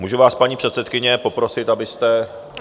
Můžu vás, paní předsedkyně, poprosit, abyste...